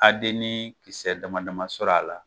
Adeni kisɛ dama dama sɔrɔ a la.